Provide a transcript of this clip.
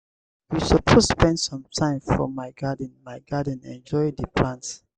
we suppose spend some time for my garden my garden enjoy di plants.